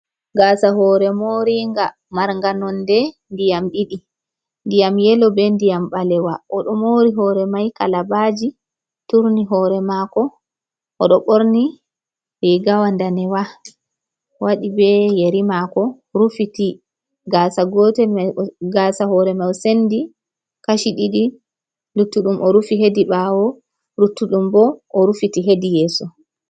Gaasa hore moringa, marnga nonde ndiyam ɗiɗi; ndiyam yelo be ndiyam ɓalewa. O ɗo mori hore mai kalabaji, turni hore mako. O ɗo ɓorni riigawa ndanewa, waɗi be yeri mako, rufiti gasa gotel. Gaasa hore mai o sendi kashi ɗiɗi; luttuɗum o rufi hedi ɓaawo, luttuɗum bo o rufiti hedi yeso.